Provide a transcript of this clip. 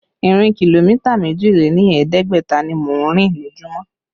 Ìrìn kìlómítà méjì lé ní ẹ̀ẹ́dẹ́gbẹ̀ta ni mò ń rìn lójumo